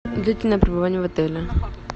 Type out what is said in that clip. длительное пребывание в отеле